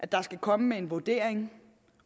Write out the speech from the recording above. der skal komme en vurdering